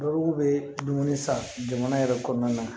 Bakuru be dumuni san jamana yɛrɛ kɔnɔna na